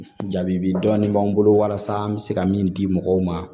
Jaabi dɔɔnin b'an bolo walasa an bɛ se ka min di mɔgɔw ma